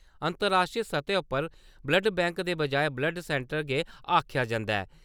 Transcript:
अंतर्राश्ट्री सतह उप्पर ब्लड बैंक दे बजाए ब्लड सैन्टर गे आक्खेआ जन्दा ऐ।